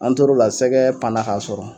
An tor'o la sɛgɛɛ panna k'a sɔrɔ